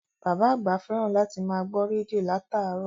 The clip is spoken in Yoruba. Bàbá àgbà fẹ́ràn láti máa gbọ́ rédíò láràárọ̀